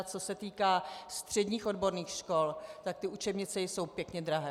A co se týká středních odborných škol, tak ty učebnice jsou pěkně drahé.